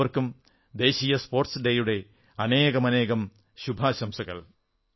എല്ലാവർക്കും ദേശീയ സ്പോർട്സ് ദിനത്തിന്റെ അനേകമനേകം ശുഭാശംസകൾ